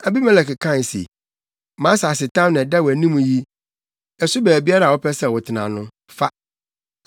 Abimelek kae se, “Mʼasasetam na ɛda wʼanim yi, ɛso baabiara a wopɛ sɛ wotena no, fa.”